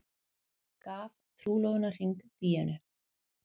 Gaf trúlofunarhring Díönu